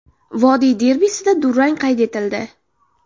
Vodiy derbisida durang qayd etildi.